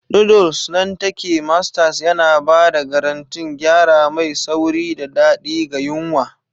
Noodles nan take Masters yana ba da garantin gyara mai sauri da daɗi ga yunwa.